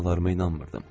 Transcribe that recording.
Qulaqlarıma inanmırdım.